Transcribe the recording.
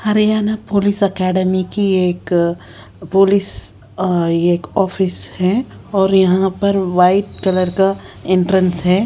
Haryana police academy की एक अः पुलिस अः ये एक ऑफिस है और यहाँ पर वाइट कलर का एंट्रेंस है।